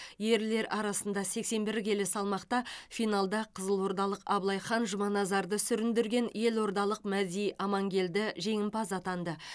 ерлер арасында сексен бір келі салмақта финалда қызылордалық абылайхан жұманазарды сүріндірген елордалық мәди амангелді жеңімпаз атанды